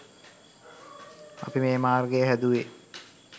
අපි මේ මාර්ගය හැදුවේ